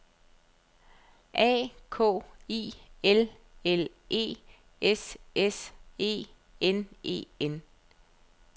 A K I L L E S S E N E N